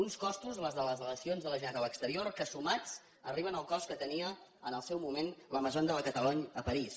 uns costos els de les delegacions de la generalitat a l’exterior que sumats arriben al cost que tenia en el seu moment la maison de la catalogne a parís